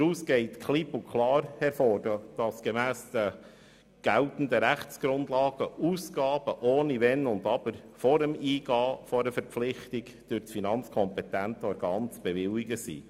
Daraus geht klipp und klar hervor, dass Ausgaben gemäss den geltenden Rechtsgrundlagen, ohne Wenn und Aber, vor dem Eingehen einer Verpflichtung durch das finanzkompetente Organ zu bewilligen sind.